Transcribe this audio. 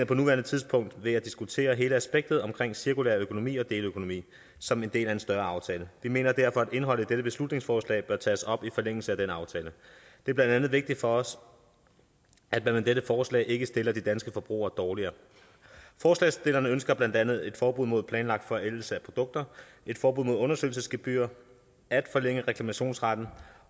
på nuværende tidspunkt ved at diskutere hele spektret af cirkulær økonomi og deleøkonomi som en del af en større aftale vi mener derfor at indholdet i dette beslutningsforslag bør tages op i forlængelse af denne aftale det er blandt andet vigtigt for os at man med dette forslag ikke stiller de danske forbrugere dårligere forslagsstillerne ønsker blandt andet et forbud mod planlagt forældelse af produkter et forbud mod undersøgelsesgebyrer og at forlænge reklamationsretten